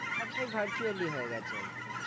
সবটাই virtually হয়ে গেছে আর কি।